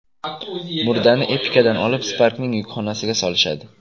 Murdani Epica’dan olib, Spark’ning yukxonasiga solishadi.